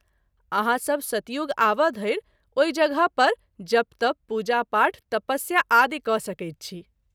आहाँ सभ सतयुग आबय धरि ओहि जगह पर जप- तप , पूजा- पाठ , तपस्या आदि क’ सकैत छी।